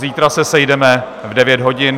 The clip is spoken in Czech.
Zítra se sejdeme v 9 hodin.